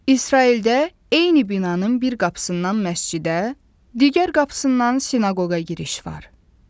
İsraildə eyni binanın bir qapısından məscidə, digər qapısından sinaqoqa giriş var.